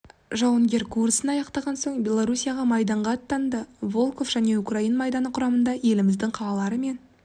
жауынгер курсын аяқтаған соң белоруссияға майданға аттанды волхов және украин майданы құрамында еліміздің қалалары мен